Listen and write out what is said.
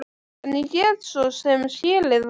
En ég get svo sem skilið það.